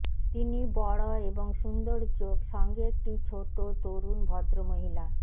তিনি বড় এবং সুন্দর চোখ সঙ্গে একটি ছোট তরুণ ভদ্রমহিলা